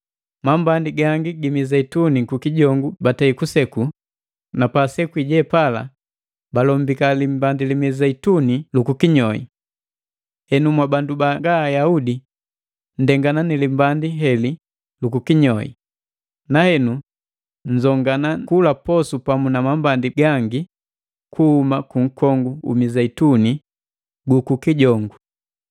Mambandi gangi gi Mizeituni kukijongu batei kuseku, na paasekwii jepala balombika limbandi li mizeituni lukukinyoi. Henu mwabandu banga Ayaudi nndengana ni limbandi heli lu kukinyoi, na henu nzongana kula posu pamu na mambandi gangi kuhuma kunkongu u mizeituni gu kukijongu.